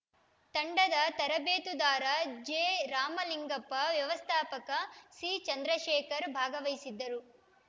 ತಂಡದ ತರಬೇತುದಾರ ಜೆರಾಮಲಿಂಗಪ್ಪ ವ್ಯವಸ್ಥಾಪಕ ಸಿಚಂದ್ರಶೇಖರ ಭಾಗವಹಿಸಿದ್ದರು